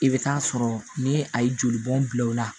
I bɛ taa sɔrɔ ni a ye jolibɔn bila o la